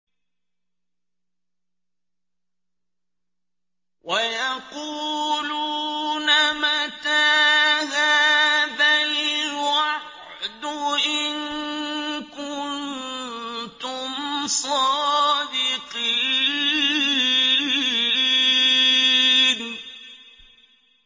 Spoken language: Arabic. وَيَقُولُونَ مَتَىٰ هَٰذَا الْوَعْدُ إِن كُنتُمْ صَادِقِينَ